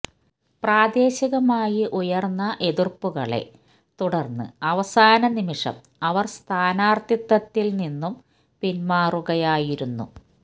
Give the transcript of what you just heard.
പ്രാദേശികമായി ഉയര്ന്ന എതിര്പ്പുകളെ തുടര്ന്ന് അവസാന നിമിഷം അവര് സ്ഥാനാര്ത്ഥിത്വത്തില് നിന്നും പിന്മാറുകയായിരുന്നു